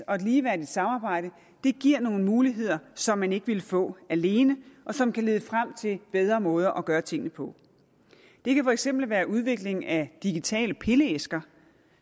og ligeværdigt samarbejde giver nogle muligheder som man ikke ville få alene og som kan lede frem til bedre måder at gøre tingene på det kan for eksempel være udvikling af digitale pilleæsker